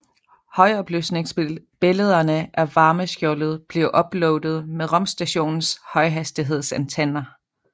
Højopløsningsbillederne af varmeskjoldet blev uploadet med rumstationens højhastighedsantenner